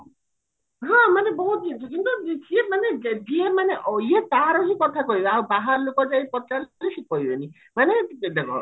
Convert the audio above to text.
ହଁ ମାନେ ବହୁତ କିନ୍ତୁ ସିଏ ମାନେ ଯିଏ ମାନେ ଅ ଇଏ ତାର ହିଁ କଥା କହିବେ ଆଉ ବାହାର ଲୋକ ଯାଇକି ପଚାରିଲେ ସିଏ କହିବେନି ମାନେ ଯଦି ଦେଖ